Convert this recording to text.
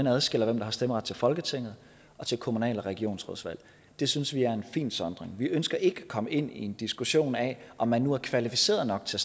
adskiller hvem der har stemmeret til folketinget og til kommunal og regionsrådsvalg det synes vi er en fin sondring vi ønsker ikke at komme ind i en diskussion af om man nu er kvalificeret nok til